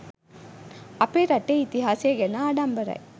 අපේ රටේ ඉතිහාසය ගැන ආඩම්බරයි.